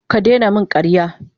Ki daina min karya.